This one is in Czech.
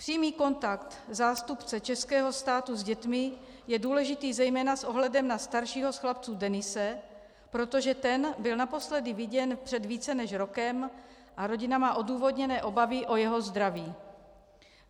Přímý kontakt zástupce českého státu s dětmi je důležitý zejména s ohledem na staršího z chlapců Denise, protože ten byl naposledy viděn před více než rokem a rodina má odůvodněné obavy o jeho zdraví.